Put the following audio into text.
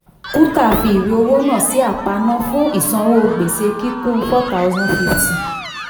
kuntal fi ìwé owó náà sí aparna fún ìsanwó kíkún gbèsè four thousand fifty.